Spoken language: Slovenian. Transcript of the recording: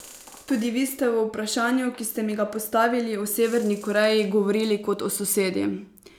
Tudi vi ste v vprašanju, ki ste mi ga postavili, o Severni Koreji govorili kot o sosedi.